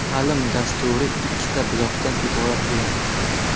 Ta’lim dasturi ikkita blokdan iborat bo‘ladi.